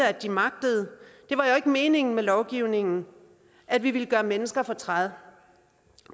at de magter det var ikke meningen med lovgivningen at vi ville gøre mennesker fortræd